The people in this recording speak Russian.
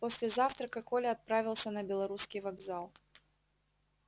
после завтрака коля отправился на белорусский вокзал